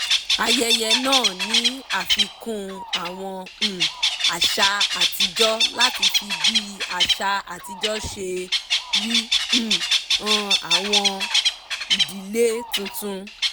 ayẹyẹ náà ní àfikún àwọn um àṣà àtijọ́ láti fi bí àṣà àtijọ́ ṣe rí um hàn àwọn ìdílé tuntun